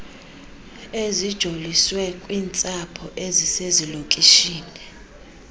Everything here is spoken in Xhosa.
ezijoliswe kwiintsapho ezisezilokishini